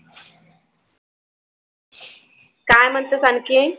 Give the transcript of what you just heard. काय म्हणतेस आणखीन?